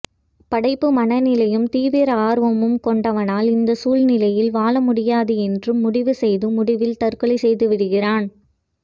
படைப்பு மனநிலையும் தீவிர ஆர்வமும் கொண்டவனால் இந்த சூழ்நிலையில் வாழமுடியாது என்று முடிவு செய்து முடிவில் தற்கொலை செய்துவிடுகிறான்